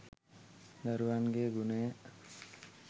දරුවන්ගේ ගුණය